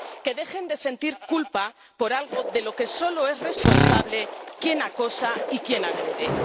Que dejen de sentir culpa por algo de lo que solo es responsable quien acosa y quien agrede.